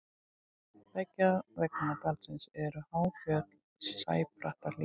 beggja vegna dalsins eru há fjöll og sæbrattar hlíðar